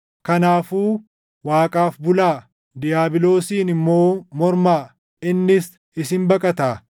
Kanaafuu Waaqaaf bulaa. Diiyaabiloosiin immoo mormaa; innis isin baqataa.